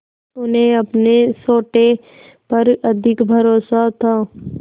उन्हें अपने सोटे पर अधिक भरोसा था